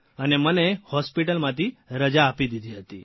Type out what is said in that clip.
અને મને હોસ્પીટલમાંથી રજા આપી દીધી હતી